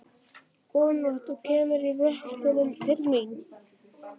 Góða nótt, þú kemur í vökunni til mín.